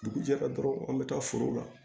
Dugu jɛra dɔrɔn an bɛ taa foro la